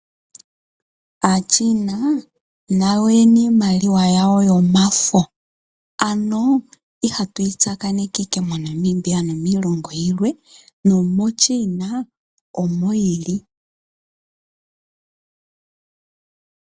Aachina nayo oye na iimaliwa yawo yomafo, ano ihatu yi tsakaneke owala moNamibia nomiilongo yilwe. NomoChina omo yi li.